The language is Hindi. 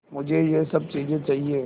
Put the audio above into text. मुझे यह सब चीज़ें चाहिएँ